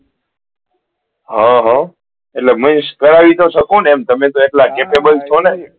હા હા એટલે means કરાય તો શકો ને તમે તો એટલા capable છો ને